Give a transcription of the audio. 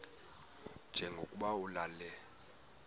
nje lokuba ulale